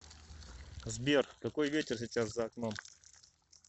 сбер какой ветер сейчас за окном